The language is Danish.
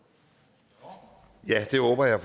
mig har